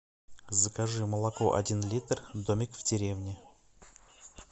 закажи молоко один литр домик в деревне